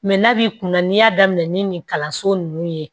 Mɛ n'a b'i kun na n'i y'a daminɛ ni nin kalanso nunnu ye